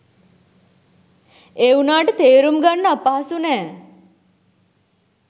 ඒ උනාට තේරුම ගන්න අපහසු නෑ.